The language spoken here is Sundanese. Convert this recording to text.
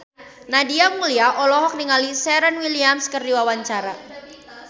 Nadia Mulya olohok ningali Serena Williams keur diwawancara